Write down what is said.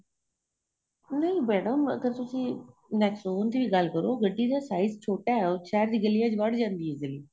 ਨਹੀਂ ਮੈਡਮ ਅਗਰ ਤੁਸੀਂ nexon ਦੀ ਗੱਲ ਕਰੋ ਗੱਡੀ ਦਾ size ਛੋਟਾ ਏ ਉਹ ਸ਼ਹਿਰ ਦੀ ਗੱਲੀਆਂ ਵਿੱਚ ਵੜ ਜਾਂਦੀ ਏ